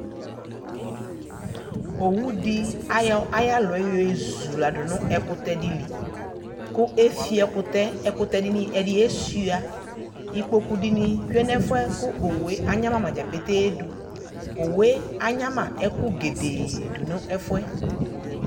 Owu de ayɔ ayalɔɛ yɔe zula do no wkutɛ de li ko efio ekutɛ Ɛkutɛ de ne ɛde esua Ukpoku de ne tsue nɛfuɛ ko owue anyama ma dza petee do Uwue anyama ɛko gedee do nɛfuɛ